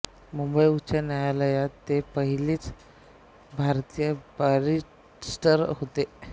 मुंबई उच्च न्यायालयात ते पहिले भारतीय बॅरिस्टर होते